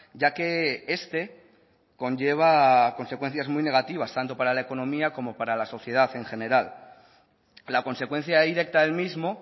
ya que este conlleva a consecuencias muy negativas tanto para la economía como para la sociedad en general la consecuencia directa del mismo